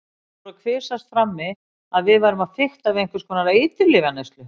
Það fór að kvisast frammi að við værum að fikta við einhvers konar eiturlyfjaneyslu.